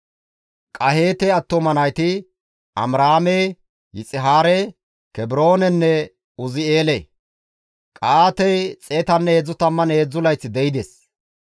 Qaheete attuma nayti Amiraame, Yixihaare, Kebroonenne Uzi7eele. Qa7aatey 133 layth de7ides.